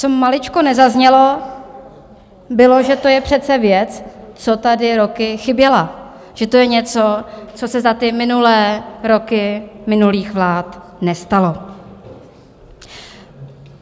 Co maličko nezaznělo, bylo, že to je přece věc, co tady roky chyběla, že to je něco, co se za ty minulé roky minulých vlád nestalo.